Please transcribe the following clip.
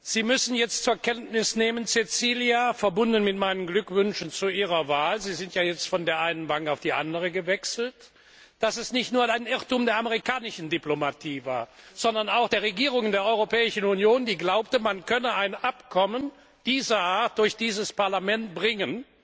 Sie müssen jetzt zur Kenntnis nehmen, Cecilia, verbunden mit meinen Glückwünschen zu Ihrer Wahl Sie sind ja jetzt von der einen Bank auf die andere gewechselt dass es nicht nur ein Irrtum der amerikanischen Diplomatie war, sondern auch der Regierungen der Europäischen Union, die glaubten, man könne ein Abkommen dieser Art durch dieses Parlament bringen,